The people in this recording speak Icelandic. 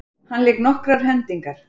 Hann lék nokkrar hendingar.